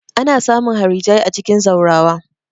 Ana samun harijai a cikin zaurawa.